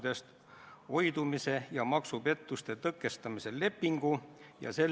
Vestlesin Helir-Valdor Seederiga, kes sai päris põhjaliku ülevaate, mida me siin saalis arutame.